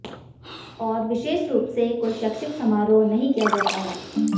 और विशेष रूप से कोई शैक्षिक समारोह नहीं किया जाता है